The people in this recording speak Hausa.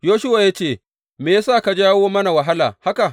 Yoshuwa ya ce, Me ya sa ka jawo mana wahala haka?